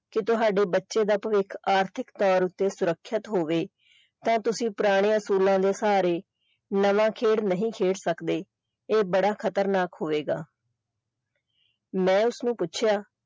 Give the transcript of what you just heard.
ਕਿ ਤੁਹਾਡੇ ਬੱਚੇ ਦਾ ਭਵਿੱਖ ਆਰਥਿਕ ਤੌਰ ਤੇ ਸੁਰੱਖਿਅਤ ਹੋਵੇ ਤਾਂ ਤੁਸੀਂ ਪੁਰਾਣਿਆਂ ਅਸੂਲਾਂ ਦੇ ਸਹਾਰੇ ਨਵਾਂ ਖੇਡ ਨਹੀਂ ਖੇਡ ਸਕਦੇ ਇਹ ਬੜਾ ਖਤਰਨਾਕ ਹੋਵੇਗਾ ਮੈਂ ਉਸਨੂੰ ਪੁੱਛਿਆ।